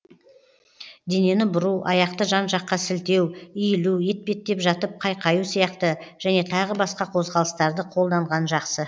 денені бұру аяқты жан жаққа сілтеу иілу етпеттеп жатып қайқаю сияқты және тағы басқа қозғалыстарды қолданған жақсы